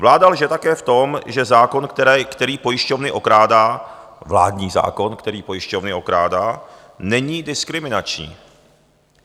Vláda lže také v tom, že zákon, který pojišťovny okrádá - vládní zákon, který pojišťovny okrádá - není diskriminační.